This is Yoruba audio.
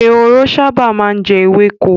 Ehoro sábà má ń jẹ ewéko.